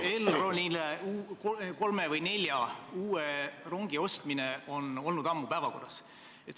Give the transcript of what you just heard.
Elronile kolme või nelja uue rongi ostmine on olnud ammu päevakorral.